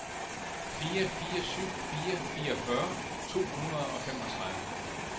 fire fire syv fire fireogfyrre to hundrede og femogtredive